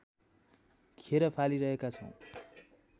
खेर फालिरहेका छौँ